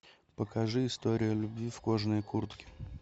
покажи история любви в кожаной куртке